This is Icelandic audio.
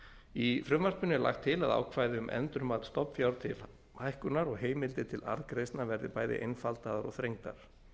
í frumvarpinu er lagt til að ákvæði um endurmat stofnfjár til hækkunar og heimildir til arðgreiðslna verði bæði einfaldaðar og þrengdar